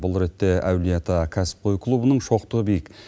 бұл ретте әулие ата кәсіпқой клубының шоқтығы биік